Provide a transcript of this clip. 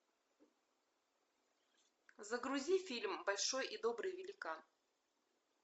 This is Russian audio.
загрузи фильм большой и добрый великан